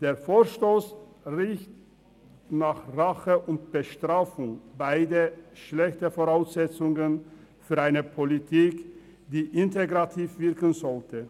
Der Vorstoss riecht nach Rache und Bestrafung, beides sind schlechte Voraussetzungen für eine Politik, die integrativ wirken sollte.